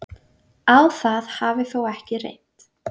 Á það hafi þó ekki reynt